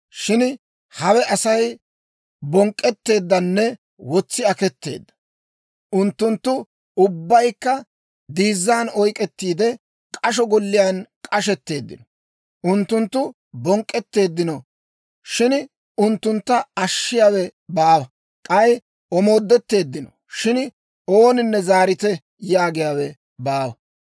Shin hawe Asay bonk'k'etteeddanne wotsi aketeedda. Unttunttu ubbaykka diizzan oyk'k'ettiide, k'asho golliyaan k'osetteeddino. Unttunttu bonk'k'etteeddino; shin unttuntta ashshiyaawe baawa. K'ay omoodetteeddino; shin ooninne, «Zaarite» yaagiyaawe baawa.